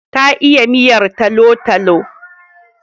Ta iya miyar talo-talo.